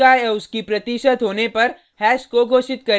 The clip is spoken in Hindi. और वैल्यू के रुप में उसका/उसकी प्रतिशत होने पर हैश को घोषित करें